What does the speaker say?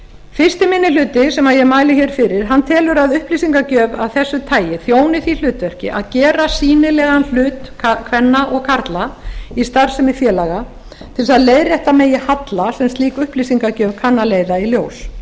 fyrsti minni hluti sem ég mæli hér fyrir telur að upplýsingagjöf af þessu tagi þjóni því hlutverki að gera sýnilegan hlut kvenna og karla í starfsemi félaga til þess að leiðrétta megi halla sem slík upplýsingagjöf kann að leiða í ljós